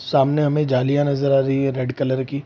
सामने हमे जालिया नजर आ रही है रेड कलर की ।